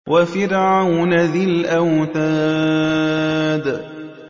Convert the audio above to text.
وَفِرْعَوْنَ ذِي الْأَوْتَادِ